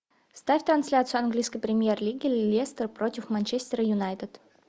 ставь трансляцию английской премьер лиги лестер против манчестер юнайтед